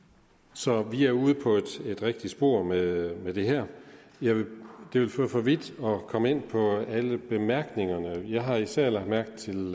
så vi er ude på et rigtigt spor med med det her det vil føre for vidt at komme ind på alle bemærkningerne til lovforslaget jeg har især lagt mærke til